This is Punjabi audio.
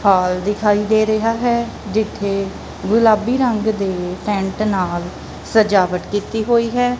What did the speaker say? ਹਾਲ ਦਿਖਾਈ ਦੇ ਰਿਹਾ ਹੈ ਜਿੱਥੇ ਗੁਲਾਬੀ ਰੰਗ ਦੇ ਟੈਂਟ ਨਾਲ ਸਜਾਵਟ ਕੀਤੀ ਹੋਈ ਹੈ।